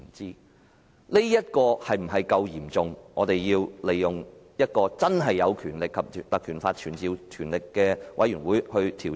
事件是否足夠嚴重，以致我們要引用《條例》成立有傳召能力的專責委員會去調查？